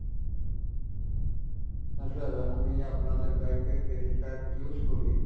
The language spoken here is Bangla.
হ্যাঁ sir আমি আপনাদের bank এর credit card use করি।